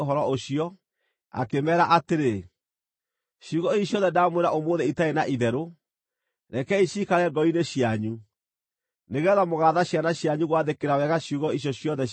akĩmeera atĩrĩ, “Ciugo ici ciothe ndaamwĩra ũmũthĩ itarĩ na itherũ, rekei ciikare ngoro-inĩ cianyu, nĩgeetha mũgaatha ciana cianyu gwathĩkĩra wega ciugo icio ciothe cia watho ũyũ.